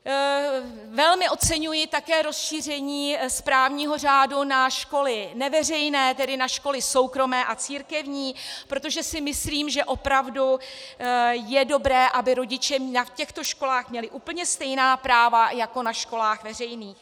Velmi oceňuji také rozšíření správního řádu na školy neveřejné, tedy na školy soukromé a církevní, protože si myslím, že opravdu je dobré, aby rodiče na těchto školách měli úplně stejná práva jako na školách veřejných.